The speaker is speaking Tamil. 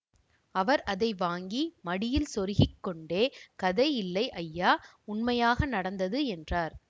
அவர் அதை வாங்கி மடியில் செருகிக் கொண்டே கதை இல்லை ஐயா உண்மையாக நடந்தது என்றார்